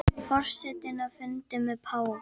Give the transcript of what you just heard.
Forsetinn á fundi með páfa